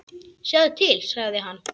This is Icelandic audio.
Sjáðu til, sagði hann.